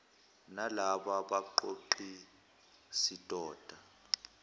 nalaba baqoqi sidoda